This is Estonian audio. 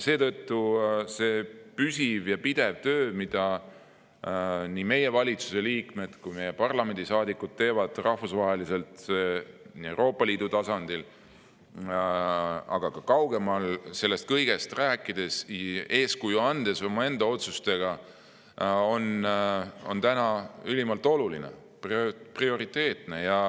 Seetõttu on ülimalt oluline see püsiv ja pidev töö, mida nii meie valitsuse kui ka meie parlamendi liikmed teevad rahvusvaheliselt Euroopa Liidu tasandil, aga ka kaugemal, sellest kõigest rääkides ja oma otsustega eeskuju andes, see on prioriteetne.